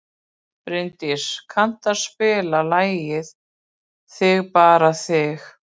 Bjarndís, kanntu að spila lagið „Þig bara þig“?